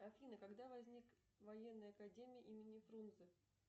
афина когда возник военная академия имени фрунзе